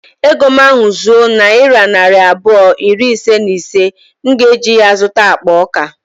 Ego m ahu zuo nayira narị abụọ iri ise na ise, m ga eji ya zụta akpa ọka